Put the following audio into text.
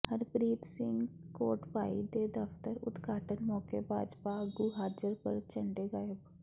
ਹਰਪ੍ਰੀਤ ਸਿੰਘ ਕੋਟਭਾਈ ਦੇ ਦਫ਼ਤਰ ਉਦਘਾਟਨ ਮੌਕੇ ਭਾਜਪਾ ਆਗੂ ਹਾਜ਼ਰ ਪਰ ਝੰਡੇ ਗਾਇਬ